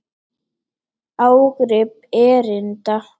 Ágrip erinda.